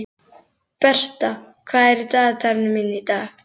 Bertha, hvað er í dagatalinu mínu í dag?